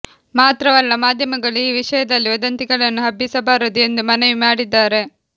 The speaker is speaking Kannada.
ಮಾತ್ರವಲ್ಲ ಮಾಧ್ಯಮಗಳು ಈ ವಿಷಯದಲ್ಲಿ ವದಂತಿಗಳನ್ನು ಹಬ್ಬಿಸಬಾರದು ಎಂದು ಮನವಿ ಮಾಡಿದ್ದಾರೆ